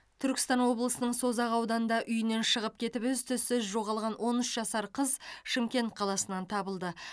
түркістан облысының созақ ауданында үйінен шығып кетіп із түссіз жоғалған он үш жасар қыз шымкент қаласынан табылды